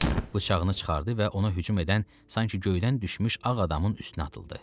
Bıçağını çıxardı və ona hücum edən sanki göydən düşmüş ağ adamın üstünə atıldı.